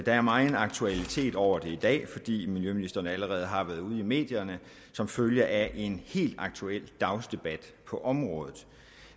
er megen aktualitet over det i dag fordi miljøministeren allerede har været ude i medierne som følge af en helt aktuel dagsdebat på området